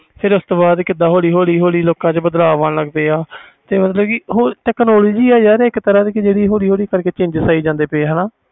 ਫਿਰ ਉਸ ਤੋਂ ਬਾਅਦ ਹੋਲੀ ਹੋਲੀ ਲੋਕਾਂ ਵਿਚ ਬਾਦਲਵ ਆਣ ਲੱਗ ਗਿਆ technology ਯਾਰ ਇਕ ਤਰਾਂ ਦੀ ਜੀਹਦੇ ਕਰਕੇ ਹੋਲੀ ਹੋਲੀ change ਆਈ ਜਾਂਦੇ